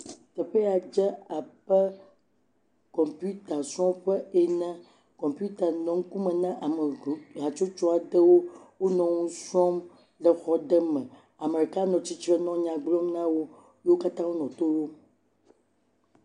Teƒe ya dze abe kɔmputasrɔ̃ƒe ene. Kɔmputa nɔ ŋkume na ame hatsotso aɖe wonɔ nu srɔ̃m le xɔ aɖe me. Ame ɖeka nɔ atsitre nɔ nya gblɔm na wo. Wo katã wonɔ to ɖom.